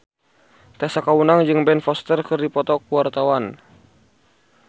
Tessa Kaunang jeung Ben Foster keur dipoto ku wartawan